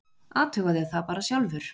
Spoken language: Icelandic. Athugaðu það bara sjálfur.